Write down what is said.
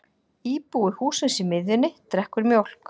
Íbúi hússins í miðjunni drekkur mjólk.